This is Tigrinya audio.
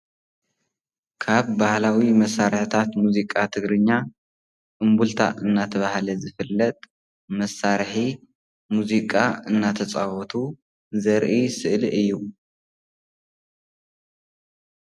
ካብ ባህላዊ መሳርሕታት ሙዚቃ ትግርኛ እምብልታ እናተብሃለ ዝፍለጥ መሳርሒ ሙዚቃ እናተፃወቱ ዘርኢ ስእሊ እዩ።